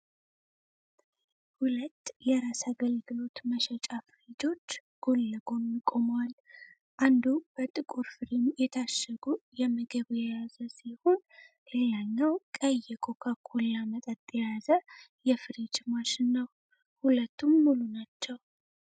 ሁለት የራስ አገልግሎት መሸጫ ፍሪጆች ጎን ለጎን ቆመዋል። አንዱ በጥቁር ፍሬም የታሸጉ የምግብ የያዘ ሲሆን፣ ሌላኛው ቀይ የኮካ ኮላ መጠጥ የያዘ የፍሪጅ ማሽን ነው። ሁለቱም ሙሉ ናቸው።